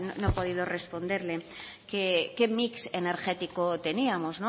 no he podido responderle que qué mix energético teníamos